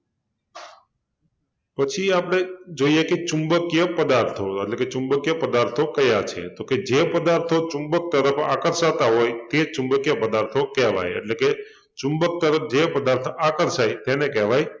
પછી આપણે જોઈએ કે ચુંબકિય પદાર્થો એટલે કે ચુંબકિય પદાર્થો કયા છે? તો કે જે પદાર્થો ચુંબક તરફ આકર્ષાતા હોય તે ચુંબકિય પદાર્થો કહેવાય એટલે કે ચુંબક તરફ જે પદાર્થ આકર્ષાય તેને કહેવાય